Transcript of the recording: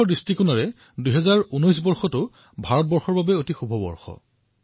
প্ৰকৃততে মহাকাশ সন্দৰ্ভত ২০১৯ চন ভাৰতৰ বাবে অতিশয় সুন্দৰ বৰ্ষ